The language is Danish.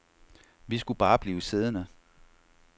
Vi skulle bare blive siddende.